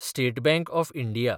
state bank of India